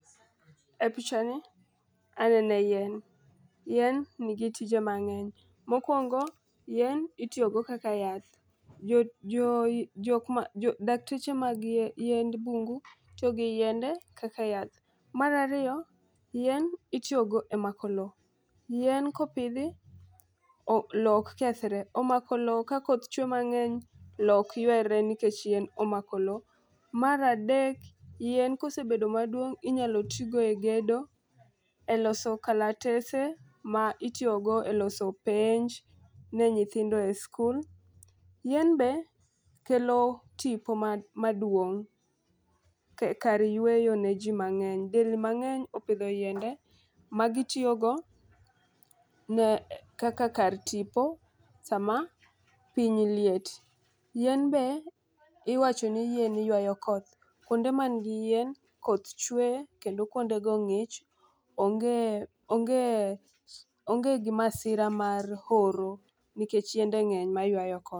E picha ni anene yien, yien nigi tije mang'eny. Mokwongo yien itiyo go kaka yath jo jo jo dakteche mag yiend bungu to gi yiende kaka yath. Mar ariyo yien itiyo go e mako lowo. Yien kopidhi o lowo ok kethre, omako lowo ka koth chwe mang'eny lowo ok ywere nikech yien omako lowo. Mar adek yien kosebedo maduong inyalo tigo e gedo, e loso kalatese ma itiyo go e loso penj ne nyithindo e sikul. Yien be kelo tipo ma maduong' ka kar yweyo ne jii mang'eny delni mang'eny opidho yiende ma gitiyo go ne kaka kar tipo sama piny liet. Yien be iwacho ni yien ywayo koth kuonde man gi yien koth chwe kendo kuonde go ng'ich onge onge onge gi masira mar oro nikech yiende ng'eny maywayo koth.